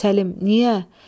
Səlim, niyə?